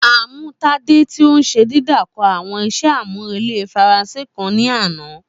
A mu Tade ti o n ṣe didakọ awọn iṣẹ amurele Faranse kan ni ana.